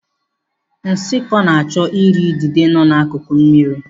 Nshikọ na-achọ ị ri idide nọ n'akuku mmiri.